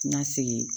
N ka segin